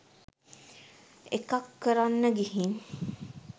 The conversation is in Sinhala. එකක් කරන්න ගිහින්